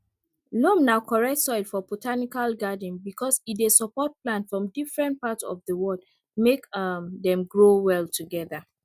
loam na correct soil for botanical garden because e dey support plant from different part of the world make um dem grow well together